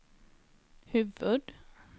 huvud